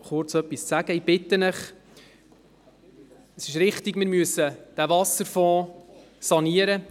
Es ist richtig, wir müssen den Wasserfonds sanieren.